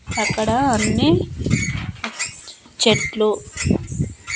అక్కడా అన్నీ చెట్లు--